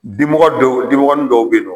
Dimɔgɔ dɔw dimɔgɔnin dɔw be ye nɔ